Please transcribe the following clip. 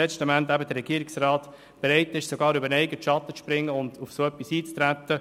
Dafür war der Regierungsrat letztendlich sogar bereit, über den eigenen Schatten zu springen und darauf einzutreten.